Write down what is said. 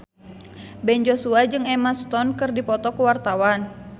Ben Joshua jeung Emma Stone keur dipoto ku wartawan